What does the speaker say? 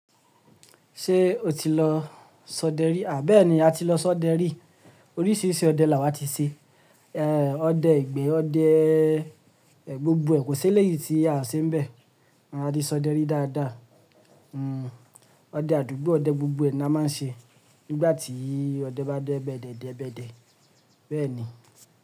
Ṣé o ti lọ sọdẹ rí? Àbí ẹ ni a ti lọ sọdẹ rí. Oríṣiríṣi ọdẹ là wà ti ṣe. Ẹ̀, ọdẹ ìgbẹ́, ọdẹ, ẹ̀, gbogbo ẹ̀ ko sẹ́lẹ̀ yìí tí a se ń bẹ. A ti sọdẹ rí dáadáa. Hmm, ọdẹ àdúgbò, ọdẹ gbogbo ẹ̀ ni a máa ń ṣe. Nígbà tí ọdẹ bá dẹ ẹ̀bẹ̀dẹ̀, dẹ ẹ̀bẹ̀dẹ̀. Bẹ́ẹ̀ ni.